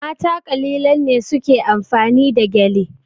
Mata kalilan ne su ke amfani da gyale.